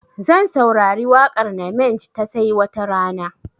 Zan saurari waƙar namenj ta 'sai watarana'